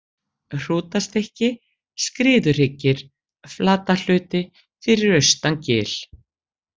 Hrútastykki, Skriðuhryggir, Flatahluti, Fyrir austan gil